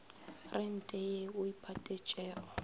rente ye o e patetšego